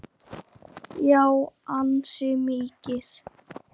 Hún lifði því til fulls.